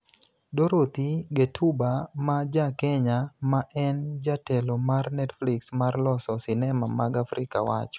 "Dorothy Ghettuba ma ja Kenya, ma en jatelo mar Netflix mar loso sinema mag Afrika wacho.